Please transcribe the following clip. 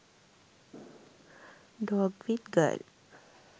dog with girl